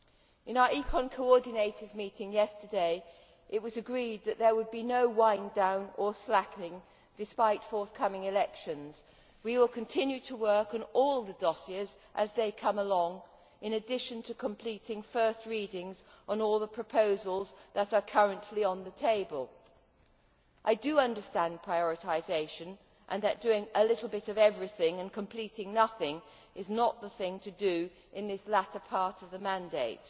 In our ECON coordinators' meeting yesterday, it was agreed that there would be no wind down or slackening, despite the forthcoming elections. We will continue to work on all the dossiers as they come along, in addition to completing first readings on all the proposals that are currently on the table. I do understand prioritisation and that doing a little bit of everything and completing nothing is not the thing to do in this latter part of the mandate,